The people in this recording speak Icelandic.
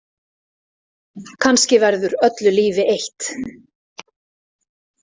Kannski verður öllu lífi eytt.